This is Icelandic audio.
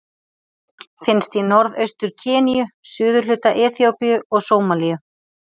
Finnst í Norðaustur-Keníu, suðurhluta Eþíópíu og Sómalíu.